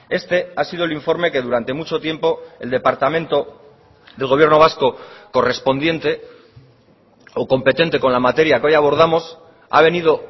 este ha sido el informe que durante mucho tiempo el departamento del gobierno vasco correspondiente o competente con la materia que hoy abordamos ha venido